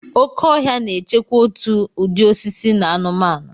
Oke ọhịa na-echekwa òtù ụdị osisi na anụmanụ.